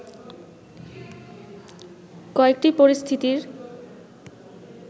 কয়েকটি পরিস্থিতির